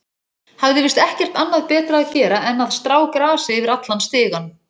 Hafði víst ekkert annað betra að gera en að strá grasi yfir allan stigann.